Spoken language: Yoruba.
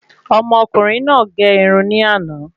Ọmọ ọkùnrin náà gé irun ni ana